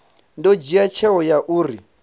ḓo dzhia tsheo ya uri